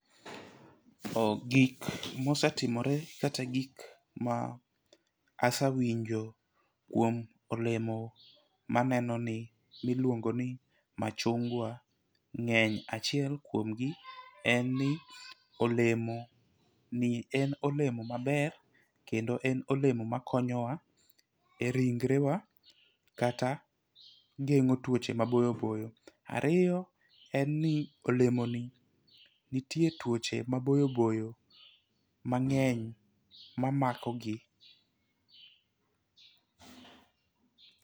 Gik mosetimore kata gik ma asewinjo kuom olemo maneno ni miluongo ni machungwa ng'eny. Achiel kuom gi en ni olemo ni en olemo maber kendo en olemo makonyowa e ringre wa kata geng'o tuoche maboyoboyo. Ariyo en ni olemo ni ntie tuoche maboyoboyo mang'eny mamako gi